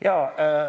Jaa.